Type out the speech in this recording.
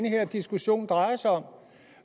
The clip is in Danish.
den her diskussion drejer sig om